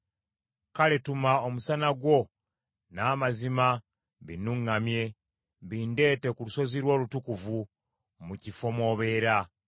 Kale tuma omusana gwo n’amazima binnuŋŋamye; bindeete ku lusozi lwo olutukuvu, mu kifo mw’obeera.